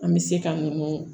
An bɛ se ka ninnu